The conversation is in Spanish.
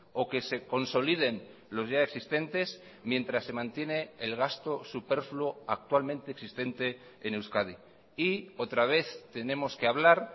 o que se consoliden los ya existentes mientras se mantiene el gasto superfluo actualmente existente en euskadi y otra vez tenemos que hablar